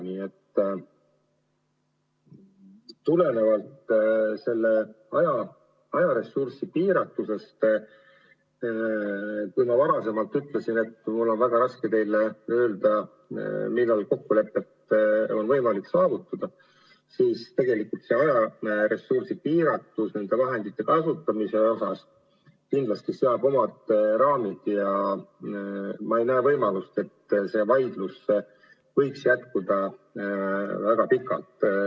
Nii et tulenevalt ajaressursi piiratusest, kui ma varem ütlesin, et mul on väga raske teile öelda, millal kokkulepe on võimalik saavutada, siis tegelikult ajaressursi piiratus nende vahendite kasutamisel seab kindlasti omad raamid ja ma ei näe võimalust, et see vaidlus võiks väga pikalt jätkuda.